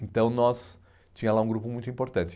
Então, nós... Tinha lá um grupo muito importante.